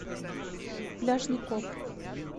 пляжный коп